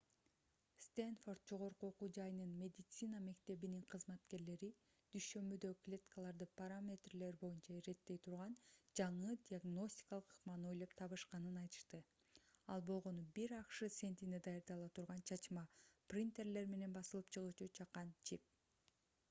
стэнфорд жогорку окуу жайынын медицина мектебинин кызматкерлери дүйшөмбүдө клеткаларды параметрлери боюнча иреттей турган жаңы диагностикалык ыкманы ойлоп табышканын айтышты ал болгону бир акш центине даярдала турган чачма принтерлер менен басылып чыгуучу чакан чип